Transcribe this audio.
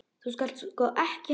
Þú skalt sko ekki halda.